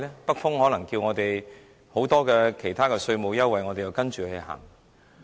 北風可能叫我們提供其他稅務優惠，我們又要跟着走嗎？